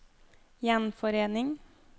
gjenforening